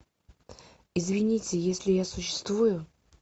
извините если я существую